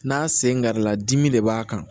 N'a sen garila dimi de b'a kan